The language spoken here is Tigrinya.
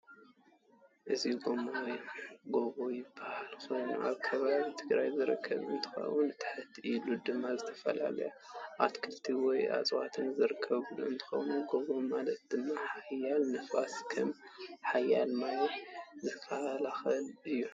እዚ ጎቦ ይባሃል ኮይኑ ኣብ ከባቢ ትግራይ ዝርከብ እንትከውን ትሕት ኢሉ ድማ ዝተፈላላዩ ኣትክሊት ወይ ዕፃዋት ዝርከብ እንትኮን ጎቦ ማለት ካብ ሓያል ንፋስ ከም ሓያል ማይ ዝካላክል እዩ።